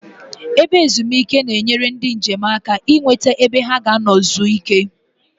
Ebe ezumike na-eneyere ndi njem aka I nweta ebe ha ga-ano zuo ike